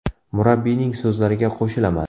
Murabbiyning so‘zlariga qo‘shilaman.